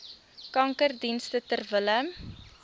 kankerdienste ter wille